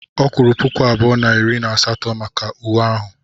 Ọ kwuru puku abụọ na iri na asatọ maka uwe ahụ.